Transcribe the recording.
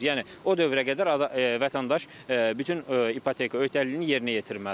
Yəni o dövrə qədər vətəndaş bütün ipoteka öhdəliyini yerinə yetirməlidir.